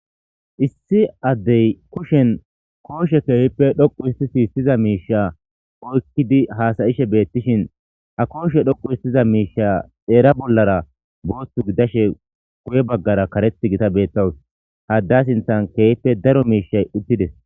issi addey kushen kooshe keehippe dhoqu isti si issiza miisha oykkidi haasayishe beettishin a kooshe dhoqu histiza miisha xeera bollara booththu gidashe guye baggara kareth gita beettawus hadda sinthan keehippe daro miishay uttides